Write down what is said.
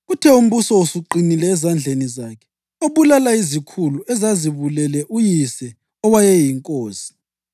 Kuthe umbuso usuqinile ezandleni zakhe, wabulala izikhulu ezazibulele uyise owayeyinkosi.